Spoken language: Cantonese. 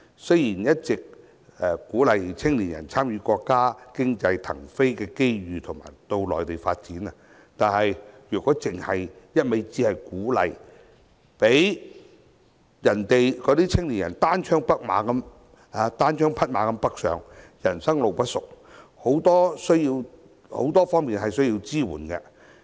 雖然政府一直鼓勵青年人參與國家經濟騰飛的機遇到內地發展，但也不能只是一味鼓勵，讓青年人單槍匹馬北上，人生路不熟，他們有很多方面需要支援。